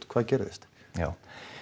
hvað gerðist já